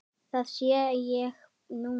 Það sé ég núna.